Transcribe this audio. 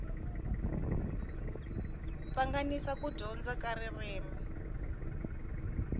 pfanganisa ku dyondza ka ririmi